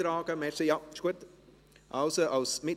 Trägst du dich noch ein?